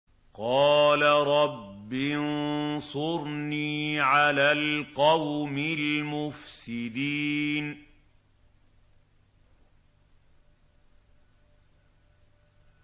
قَالَ رَبِّ انصُرْنِي عَلَى الْقَوْمِ الْمُفْسِدِينَ